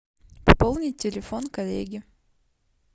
пополнить телефон коллеги